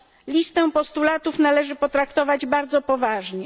Listę postulatów należy potraktować bardzo poważnie.